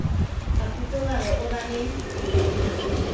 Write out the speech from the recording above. a totobala o ba le